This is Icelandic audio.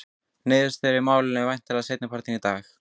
Niðurstöðu í málinu má vænta seinni partinn í dag.